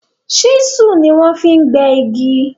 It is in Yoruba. chisel ní wan fí gbé ìgi.